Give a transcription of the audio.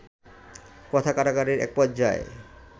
কথা কাটাকাটির এক পর্যায়ে